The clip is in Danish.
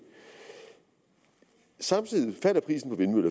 samtidig af